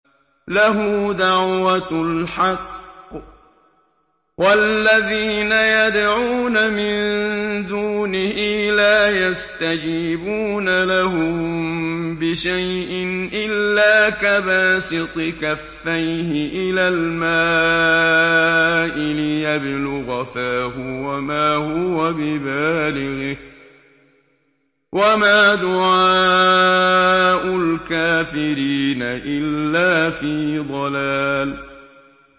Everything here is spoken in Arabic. لَهُ دَعْوَةُ الْحَقِّ ۖ وَالَّذِينَ يَدْعُونَ مِن دُونِهِ لَا يَسْتَجِيبُونَ لَهُم بِشَيْءٍ إِلَّا كَبَاسِطِ كَفَّيْهِ إِلَى الْمَاءِ لِيَبْلُغَ فَاهُ وَمَا هُوَ بِبَالِغِهِ ۚ وَمَا دُعَاءُ الْكَافِرِينَ إِلَّا فِي ضَلَالٍ